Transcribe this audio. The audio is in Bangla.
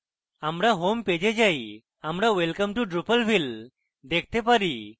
আমাদের হোম পেজে যাই এবং আমরা welcome to drupalville দেখতে পারি